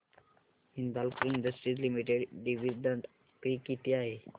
Hindalco industries limited dividend pay किती आहे